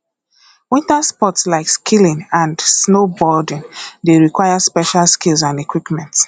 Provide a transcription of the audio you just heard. winter sports like skiing and snowboarding dey require special skills and equipment